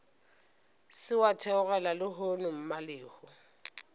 se wa theogela lehono mmalehu